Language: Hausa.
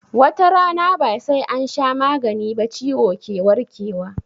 Watarana ba sai ansha magani ba ciwo ke warke wa